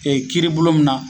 Ee kiiri bulon min na